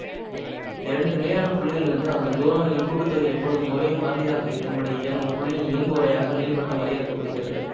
இரண்டு நிலையான புள்ளிகளிலிருந்து அதன் தூரங்களின் கூட்டு தொகை எப்பொழுதும் ஒரே மாறிலியாக இருக்கும்படி இயங்கும் புள்ளியின் இயங்குவரையாக நீள்வட்டம் வரையறுக்க படுகிறது